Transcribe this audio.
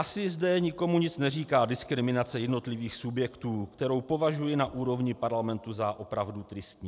Asi zde nikomu nic neříká diskriminace jednotlivých subjektů, kterou považuji na úrovni parlamentu za opravdu tristní.